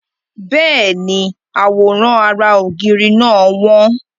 Bẹ́ẹ̀ni, àwòrán ara ògiri náà wọ́n.